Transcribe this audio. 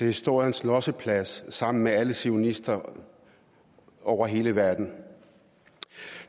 historiens losseplads sammen med alle zionister over hele verden